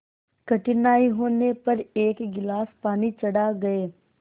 कठिनाई होने पर एक गिलास पानी चढ़ा गए